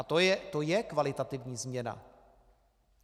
A to je kvalitativní změna.